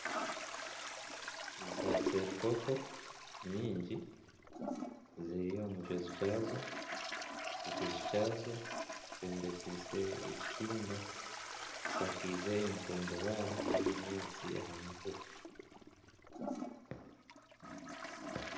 Za seerukoko nyingi ziri omu kiju kyazo, ekiju kyazo kyombekise ekitimba kishakize entudubare n'ebinyaatsi aha mutwe.